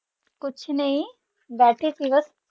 ਕੁਛ ਨੇ ਬੈਠੀ ਸੀ ਬਸ